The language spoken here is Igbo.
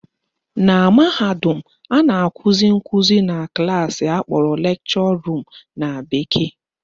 Na mahadum, a na-akụzi nkụzi na klaasị akpọrọ lecture room na bekee